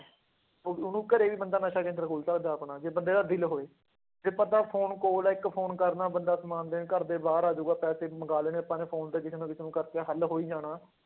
ਉਹ ਉਹਨੂੰ ਘਰੇ ਵੀ ਬੰਦਾ ਨਸ਼ਾ ਕੇਂਦਰ ਖੋਲ ਸਕਦਾ ਆਪਣਾ ਜੇ ਬੰਦੇ ਦਾ ਦਿੱਲ ਹੋਵੇ, ਜੇ ਬੰਦਾ phone ਕੋਲ ਹੈ ਇੱਕ phone ਕਰਨਾ ਬੰਦਾ ਸਮਾਨ ਦੇਣ ਘਰਦੇ ਬਾਹਰ ਆ ਜਾਊਗਾ ਪੈਸੇ ਵੀ ਮੰਗਾ ਲੈਣੇ, ਆਪਾਂ phone ਤੇ ਕਿਸੇ ਨਾ ਕਿਸੇ ਨੂੰ ਕਰਕੇ ਹੱਲ ਹੋ ਹੀ ਜਾਣਾ।